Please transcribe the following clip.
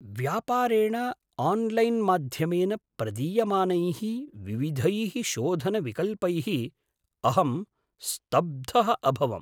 व्यापारेण आन्लैन्माध्यमेन प्रदीयमानैः विविधैः शोधनविकल्पैः अहं स्तब्धः अभवम्।